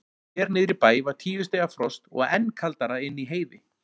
Hér niðri í bæ var tíu stiga frost og enn kaldara inni í Heiði.